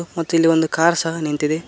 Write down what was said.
ಮತ್ತು ಇಲ್ಲಿ ಒಂದು ಕಾರ್ ಸಹ ನಿಂತಿದೆ.